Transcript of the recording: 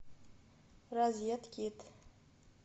розеткед